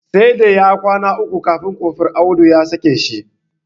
Sai da ya kwana uku a sel kafin Kofur Audu ya sake shi.